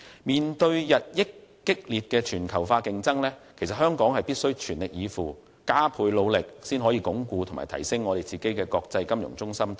面對日益激烈的全球化競爭，香港必須全力以赴，加倍努力，以鞏固和提升作為國際金融中心的地位。